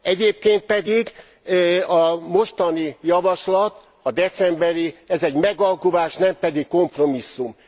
Egyébként pedig a mostani javaslat, a decemberi, ez egy megalkuvás, nem pedig kompromisszum.